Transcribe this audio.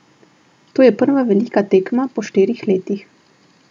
To je prva velika tekma po štirih letih.